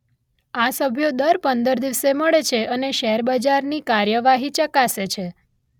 આ સભ્યો દર પંદર દિવસે મળે છે અને શેર બજારની કાર્યવાહી ચકાસે છે.